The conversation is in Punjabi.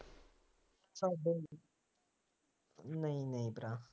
ਤੁਹਾਡੇ ਨਹੀਂ ਨਹੀਂ ਭਰਾ